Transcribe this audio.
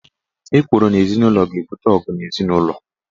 Ekworo n' ezinụlo ga-ebute ọgụ n' ezinụlọ.